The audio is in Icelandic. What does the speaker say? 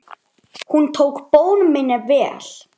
Hún tók bón minni vel.